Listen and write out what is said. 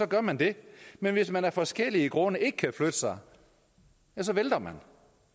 gør man det men hvis man af forskellige grunde ikke kan flytte sig vælter man